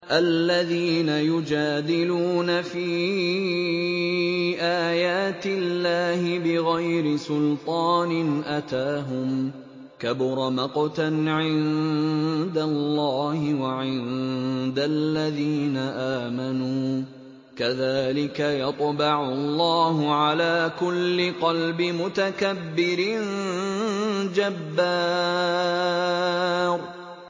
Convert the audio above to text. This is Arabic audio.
الَّذِينَ يُجَادِلُونَ فِي آيَاتِ اللَّهِ بِغَيْرِ سُلْطَانٍ أَتَاهُمْ ۖ كَبُرَ مَقْتًا عِندَ اللَّهِ وَعِندَ الَّذِينَ آمَنُوا ۚ كَذَٰلِكَ يَطْبَعُ اللَّهُ عَلَىٰ كُلِّ قَلْبِ مُتَكَبِّرٍ جَبَّارٍ